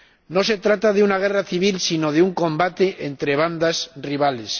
No se trata de una guerra civil, sino de un combate entre bandas rivales.